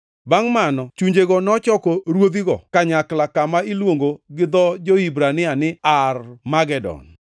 Bangʼ mano chunjego nochoko ruodhigo kanyakla kama iluongo gi dho jo-Hibrania ni Armagedon.